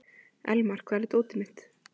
Elmar, hvar er dótið mitt?